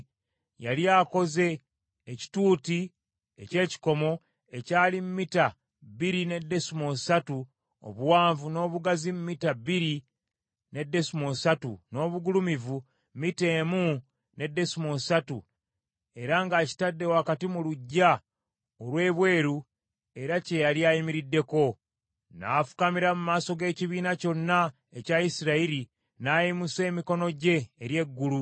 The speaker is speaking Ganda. Yali akoze ekituuti eky’ekikomo, ekyali mita bbiri ne desimoolo ssatu obuwanvu n’obugazi mita bbiri ne desimoolo ssatu, n’obugulumivu mita emu ne desimoolo ssatu, era ng’akitadde wakati mu luggya olw’ebweru era kye yali ayimiriddeko. N’afukamira mu maaso g’ekibiina kyonna ekya Isirayiri, n’ayimusa emikono gye eri eggulu.